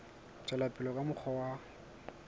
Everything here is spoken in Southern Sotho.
tswela pele ka mokgwa wa